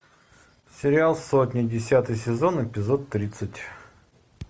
сериал сотня десятый сезон эпизод тридцать